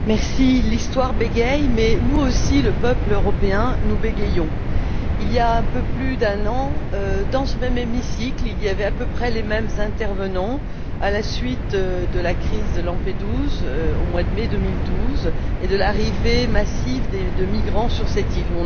Madame la Présidente, l'histoire bégaie mais nous aussi, le peuple européen, nous bégayons. Il y a un peu plus d'un an, dans ce même hémicycle, il y avait à peu près les mêmes intervenants à la suite de la crise de Lampedusa, au mois de mai 2012, et de l'arrivée massive de migrants sur cette île.